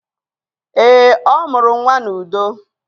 Eé, ọ mụrụ nnwa n'udo.